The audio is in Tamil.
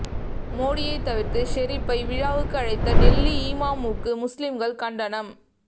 மோடியை தவிர்த்து ஷெரிப்பை விழாவுக்கு அழைத்த டெல்லி இமாமுக்கு முஸ்லிம்கள் கண்டனம்